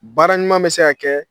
Baara ɲuman bɛ se ka kɛ